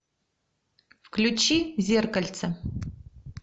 включи зеркальце